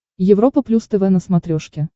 европа плюс тв на смотрешке